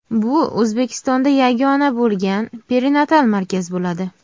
Bu O‘zbekistonda yagona bo‘lgan perinatal markaz bo‘ladi.